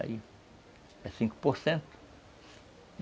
Aí é cinco por cento.